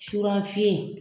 Surafiyɛn